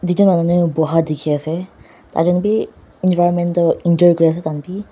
tuichon manu boha teki ase taichon be environment toh enjoy kuri ase taikanbe.